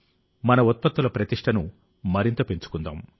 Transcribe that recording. మన ఉత్పత్తుల ప్రతిష్ఠను మరింత పెంచుకుందాం